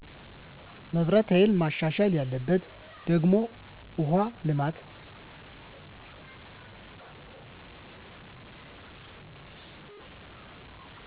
መብራት ሀይል መሻሻል ያለበት ደግሞ ውሃ ልማት